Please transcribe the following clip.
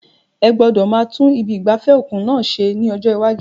Ẹ gbọ́dọ̀ máa tún ibi ìgbafẹ́ òkun náà ṣe ní ojoojúmọ́.